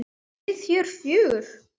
Við hér fjögur?